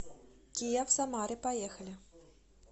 киа в самаре поехали